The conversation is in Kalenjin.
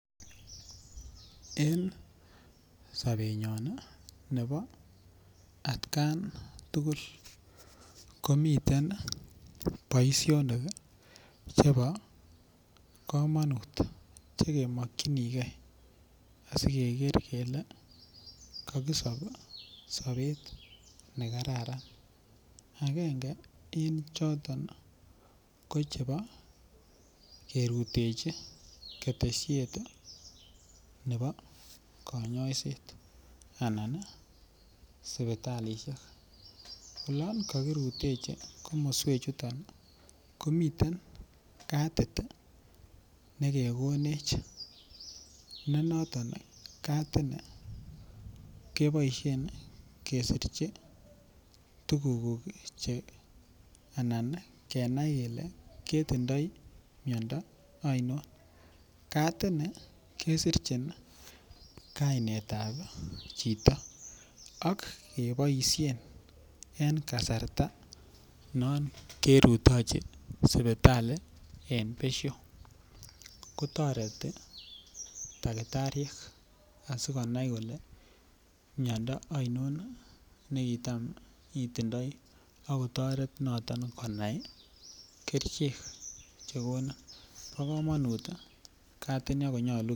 En sobenyon nebo atkan tugul ko miten boisionik chebo komonut Che kemokyinige asi keker kele kokisob sobet nekararan agenge choton ko chebo kerutechi ketesiet nebo kanyaiset anan sipitalisiek olon kokirutechi komiten katit nekekonech ne noton katini keboisien kesirchi tuguk anan kenai kele ketindoi miondo ainon katini kesirchin ii kainet ab chito ak keboisien en kasarta non kerutechi sipitali en besio koboisien takitariek asi konai kole miando ainon ne kitam itindoi ak kotoret noton konai kerichek Che konin bo komonut katini ako nyolu kerib